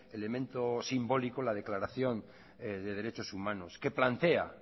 elemento simbólico la declaración de derechos humanos que plantea